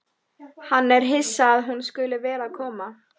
Hann er hissa að hún skuli vera að koma.